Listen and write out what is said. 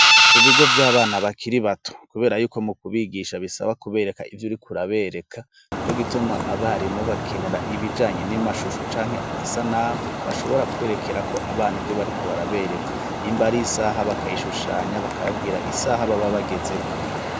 Ku bigo vy'abana bakiri bato kubera yuko mu kubigisha bisaba kubereka ivyo uriko urabereka, nico gituma abarimu bakenera ibijanye n'amashusho canke amasanamu bashobora kwerekerako abana ivyo bariko barabereka nimba ari isaha bakayishushanya bakababwira isaha baba bagezeko.